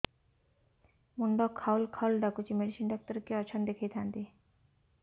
ମୁଣ୍ଡ ଖାଉଲ୍ ଖାଉଲ୍ ଡାକୁଚି ମେଡିସିନ ଡାକ୍ତର କିଏ ଅଛନ୍ ଦେଖେଇ ଥାନ୍ତି